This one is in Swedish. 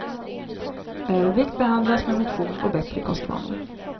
Övervikt behandlas med motion och bättre kostvanor.